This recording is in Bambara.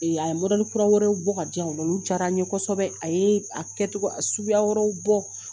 A ye kura wɛrɛ bɔ ka diyan nɔ olu diyara n ye kosɛbɛ a ye a kɛcogo suguya yɔrɔw bɔ